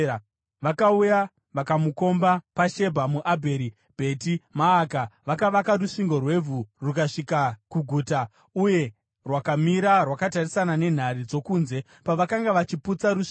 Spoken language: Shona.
Vakauya vakamukomba paShebha muAbheri Bheti Maaka. Vakavaka rusvingo rwevhu rukasvika kuguta, uye rwakamira rwakatarisana nenhare dzokunze. Pavakanga vachiputsa rusvingo,